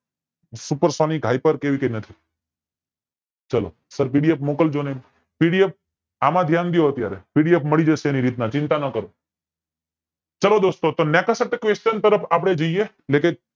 super sonic hyper કે એવી નથી ચાલો સર PDF મોકલજો ને PDF એમાં ધ્યાન દયો અત્યારે PDF મળી જશે એની રીતે ચિંતા નો કરો ચાલો દોસ્તો તરફ આપડે જઈએ